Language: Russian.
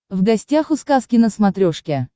в гостях у сказки на смотрешке